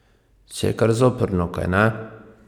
Še kar zoprno, kajne?